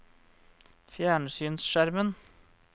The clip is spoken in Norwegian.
fjernsynsskjermen